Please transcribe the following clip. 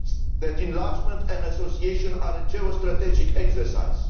that enlargement and association are a geostrategic exercise